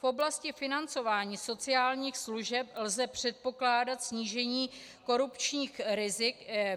V oblasti financování sociálních služeb lze předpokládat snížení korupčních rizik.